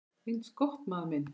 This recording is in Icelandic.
Eins gott, maður minn